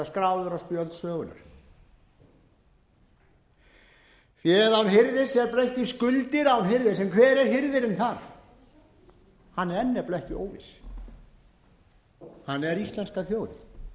á spjöld sögunnar fé án hirðis er breytt í skuldir án hirðis en hver er hirðirinn þar hann er nefnilega ekki óviss hann er íslenska